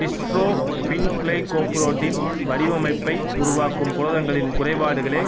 dystrophin glycoprotein வடிவமைப்பை உருவாக்கும் புரதங்களின் குறைபாடுகளே